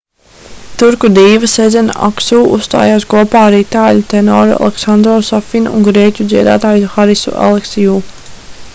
turku dīva sezena aksu uzstājās kopā ar itāļu tenoru alesandro safinu un grieķu dziedātāju harisu aleksiu